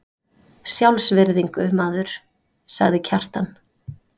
Sjálfsvirðingu, maður, sagði Kjartan.